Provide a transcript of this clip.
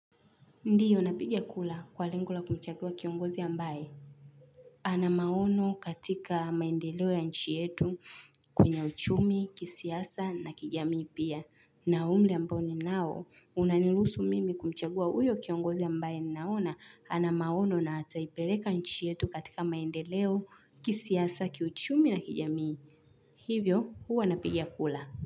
Ndiyo napiga kula kwa lengo la kumchagua kiongozi ambaye. Ana maono katika maendeleo ya nchi yetu kwenye uchumi, kisiasa na kijamii pia. Na umri ambao ninao unaniluhusu mimi kumchagua uyo kiongozi ambaye naona ana maono na ataipeleka nchi yetu katika maendeleo, kisiasa, kiuchumi na kijamii. Hivyo huwa napiga kula.